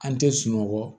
An tɛ sunɔgɔ